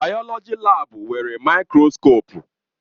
Bayoloji laabu nwere maịkroskopụ.